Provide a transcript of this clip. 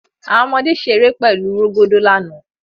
Awọn ọmọde ṣere pẹlu rogodo lana